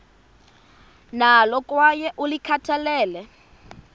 nalo kwaye ulikhathalele